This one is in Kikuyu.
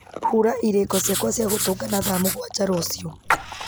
hura irĩko ciakwa cia gũtũngana thaa mũgwanja rũciũ